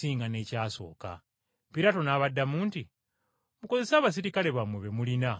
Piraato n’abaddamu nti, “Mukozese abaserikale bammwe be mulina mugende mugikuume.”